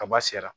Kaba sera